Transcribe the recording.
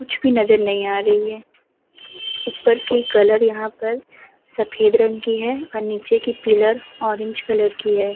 कुछ भी नज़र नहीं आ रही है। ऊपर की कलर यहाँ पर सफेद रंग की है और नीचे की पिलर ऑरेंज कलर की है।